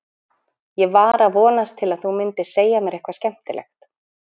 Ég var að vonast til að þú mundir segja mér eitthvað skemmtilegt.